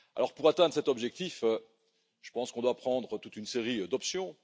Pour atteindre cet objectif, je pense qu'on doit prendre toute une série d'options.